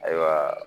Ayiwa